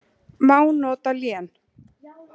Má nota lén